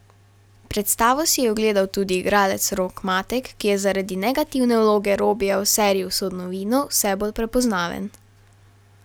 Predstavo si je ogledal tudi igralec Rok Matek, ki je zaradi negativne vloge Robija v seriji Usodno vino vse bolj prepoznaven.